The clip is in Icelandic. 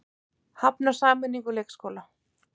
Hafnar sameiningu leikskóla